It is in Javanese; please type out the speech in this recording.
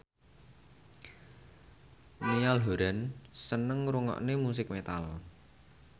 Niall Horran seneng ngrungokne musik metal